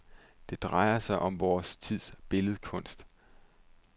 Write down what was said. Det drejer sig om vor tids billedkunst.